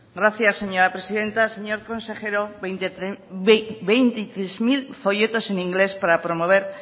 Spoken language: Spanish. gracias señora presidenta señor consejero veintitrés mil folletos en inglés para promover